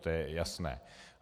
To je jasné.